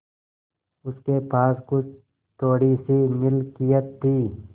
उसके पास कुछ थोड़ीसी मिलकियत थी